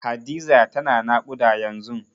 Hadiza tana naƙuda yanzun.